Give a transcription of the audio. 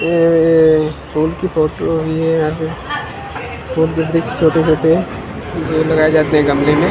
ए फूल की फोटो हुई है यहाँ पे वृक्ष छोटे -छोटे जो लगाए जाते है गमले में --